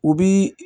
U bi